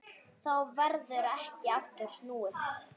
Þá verður ekki aftur snúið.